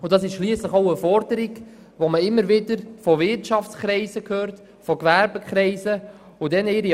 Das entspricht schliesslich einer Forderung, die man von Seiten der Wirtschaft und des Gewerbes immer wieder hört.